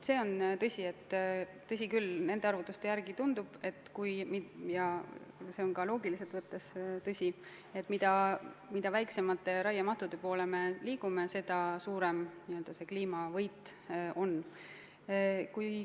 See on tõsi, et nende arvutuste järgi tundub – ja see on ka loogiliselt võttes tõsi –, et mida väiksemate raiemahtude poole me liigume, seda suurem n-ö kliimavõit on.